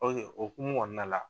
o hokumu kɔɔna la